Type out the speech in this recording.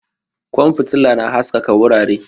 Kwan fitila na haskaka wurare